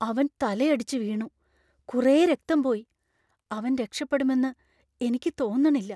അവൻ തലയടിച്ചു വീണു , കുറെ രക്തം പോയി. അവൻ രക്ഷപ്പെടുമെന്ന് എനിക്ക് തോന്നണില്ല .